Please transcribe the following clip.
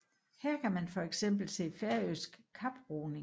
Her kan man for eksempel se færøsk kaproing